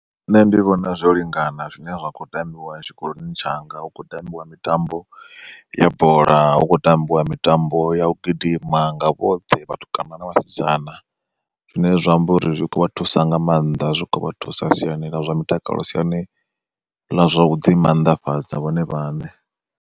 Nṋe ndi vhona zwo lingana zwine zwa khou tambiwa tshikoloni tshanga hu khou tambiwa mitambo ya bola, hukho tambiwa mitambo ya u gidima nga vhoṱhe vhatukana na vhasidzana. Zwine zwa amba uri zwi kho vha thusa nga maanḓa zwi kho vha thusa siani ḽa zwa mutakalo siani ḽa zwa u ḓi mannḓafhadza vhone vhaṋe.